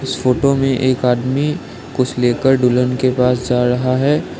इस फोटो में एक आदमी कुछ लेकर दुल्हन के पास जा रहा है।